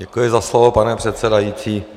Děkuji za slovo, pane předsedající.